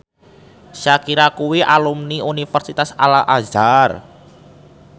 Shakira kuwi alumni Universitas Al Azhar